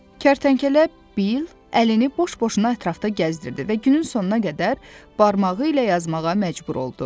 Kərtənkələ Bil əlini boş-boşuna ətrafda gəzdirdi və günün sonuna qədər barmağı ilə yazmağa məcbur oldu.